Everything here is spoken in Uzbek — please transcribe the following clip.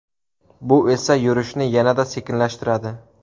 Bu esa yurishni yanada sekinlashtiradi.